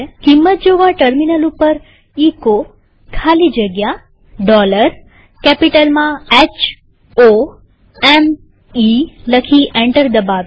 કિંમત જોવાટર્મિનલ ઉપર એચો ખાલી જગ્યા કેપિટલ માં h o m ઇ લખી એન્ટર દબાવીએ